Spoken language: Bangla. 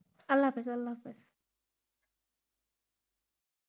আল্লাহ হাফিস. আল্লা হাফিস.